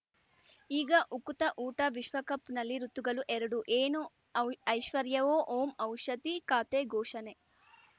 ಈಗ ಉಕುತ ಊಟ ವಿಶ್ವಕಪ್‌ನಲ್ಲಿ ಋತುಗಳು ಎರಡು ಏನು ಔ ಐಶ್ವರ್ಯಾ ಓಂ ಔಷಧಿ ಖಾತೆ ಘೋಷಣೆ